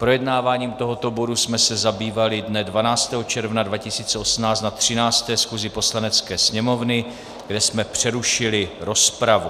Projednáváním tohoto bodu jsme se zabývali dne 12. června 2018 na 13. schůzi Poslanecké sněmovny, kde jsme přerušili rozpravu.